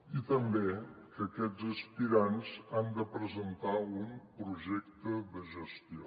i també que aquests aspirants han de presentar un projecte de gestió